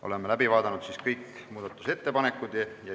Oleme läbi vaadanud kõik muudatusettepanekud.